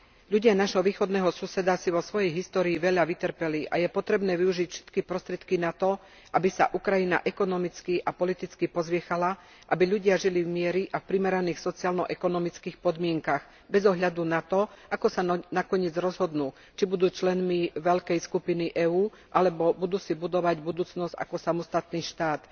Ľudia nášho východného suseda si vo svojej histórii veľa vytrpeli a je potrebné využiť všetky prostriedky na to, aby sa Ukrajina ekonomicky a politicky pozviechala, aby ľudia žili v mieri a v primeraných sociálno ekonomických podmienkach, bez ohľadu na to, ako sa nakoniec rozhodnú, či budú členmi veľkej skupiny EÚ, alebo budú si budovať budúcnosť ako samostatný štát.